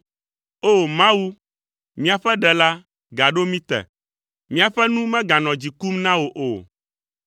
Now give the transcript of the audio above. O! Mawu, míaƒe Ɖela, gaɖo mí te, míaƒe nu meganɔ dzi kum na wò o.